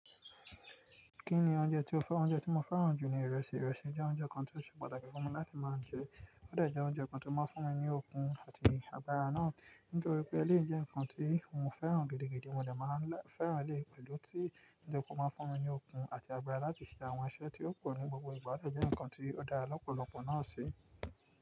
Kí ni oúnjẹ tí o fẹ́ran? Oúnjẹ tí mo fẹ́ràn jù ni ìrẹsì. Ìrẹsì jẹ́ oúnjẹ kan tí ó ṣe pàtàkì fún mi láti máa jẹ. Ó dẹ́ jẹ oúnjẹ kan tí ó máa ń fún mi ní okun àti agbára náà. Nítorí pé eléyìí jẹ́ nǹkan tí mo fẹ́ràn gidigidi, mo dẹ̀ máa fẹ́ràn eléyìí pẹ̀lú tí oúnjẹ kan máa ń fún mi ní okun àti agbára láti ṣe àwọn iṣẹ́ tí ó pọ̀ ní gbogbo ìgbà ódẹ̀ jẹ́ nǹkan tí ó dára lọ́pọ̀lọpọ̀ náà sí.